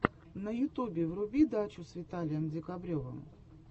в ютубе вруби дачу с виталием декабревым